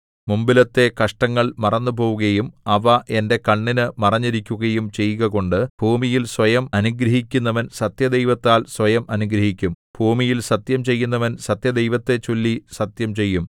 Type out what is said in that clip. മുമ്പിലത്തെ കഷ്ടങ്ങൾ മറന്നുപോവുകയും അവ എന്റെ കണ്ണിന് മറഞ്ഞിരിക്കുകയും ചെയ്കകൊണ്ടു ഭൂമിയിൽ സ്വയം അനുഗ്രഹിക്കുന്നവൻ സത്യദൈവത്താൽ സ്വയം അനുഗ്രഹിക്കും ഭൂമിയിൽ സത്യം ചെയ്യുന്നവൻ സത്യദൈവത്തെച്ചൊല്ലി സത്യം ചെയ്യും